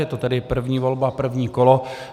Je to tedy první volba první kolo.